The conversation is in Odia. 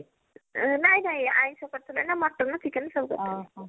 ନାଇଁ ନାଇଁ ଆଁଇଷ କରିଥିଲେ ନା mutton chicken ସବୁ କରିଥିଲେ